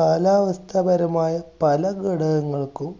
കാലാവസ്ഥാപരമായ പല ഘടകങ്ങൾക്കും